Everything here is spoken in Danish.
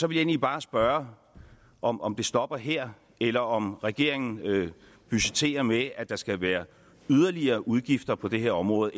egentlig bare spørge om om det stopper her eller om regeringen budgetterer med at der skal være yderligere udgifter på det her område